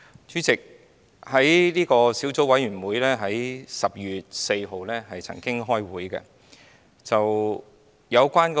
主席，小組委員會在10月4日曾經開會。